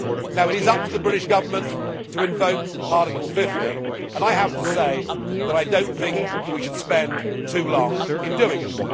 Now it is up to the British Government to invoke Article 50 and I have to say that I do not think we should spend too long in doing it.